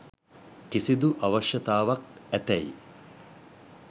කිසිදු අවශ්‍යතාවයක් ඇතැයි